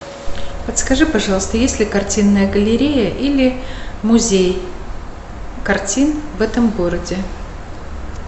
подскажи пожалуйста есть ли картинная галерея или музей картин в этом городе